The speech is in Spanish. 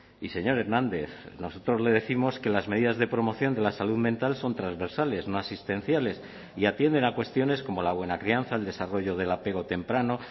y señor hernández nosotros le décimos que las medidas de promoción de la salud mental son transversales no asistenciales y atienden a cuestiones como la buena crianza el desarrollo del apego temprano